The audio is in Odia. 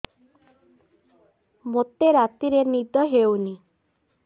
ମୋତେ ରାତିରେ ନିଦ ହେଉନି